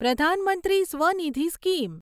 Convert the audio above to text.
પ્રધાન મંત્રી સ્વનિધિ સ્કીમ